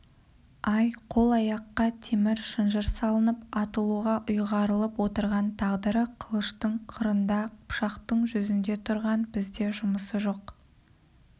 ай қол-аяққа темір шынжыр салынып атылуға ұйғарылып отырған тағдыры қылыштың қырында пышақтың жүзінде тұрған бізде жұмысы жоқ